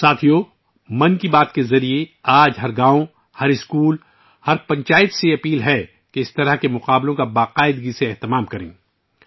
ساتھیو، 'من کی بات' کے ذریعے، میں آج ہر گاؤں، ہر اسکول، ہر پنچایت سے درخواست کرتا ہوں کہ اس طرح کے مقابلے باقاعدگی سے منعقد کریں